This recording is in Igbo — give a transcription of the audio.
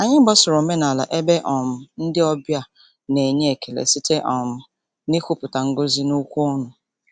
Anyị gbasoro omenala ebe um ndị ọbịa na-enye ekele site um n'ikwupụta ngọzi n'okwu ọnụ.